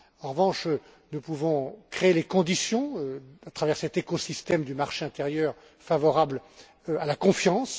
En revanche, nous pouvons créer les conditions, à travers cet écosystème du marché intérieur, favorables à la confiance.